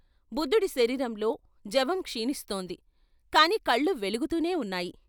బుద్ధుడి శరీరంలో జవం క్షీణిస్తోంది కాని కళ్ళు వెలుగుతూనే ఉన్నాయి.